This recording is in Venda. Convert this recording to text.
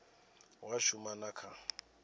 hu a shuma na kha